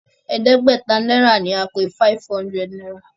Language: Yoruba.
e de gbé ta naira ní a pé five hundred náírà.